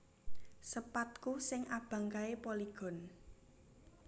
Sepadku sing abang kae Polygon